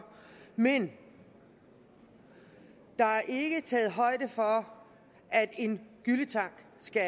men der er ikke taget højde for at en gylletank skal